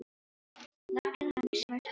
Leggið hann í smurt eldfast mót.